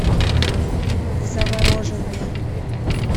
завороженный